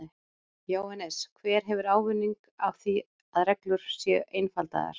Jóhannes: Hver hefur ávinning af því að reglur séu einfaldaðar?